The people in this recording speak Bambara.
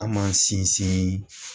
An m'an sinsin.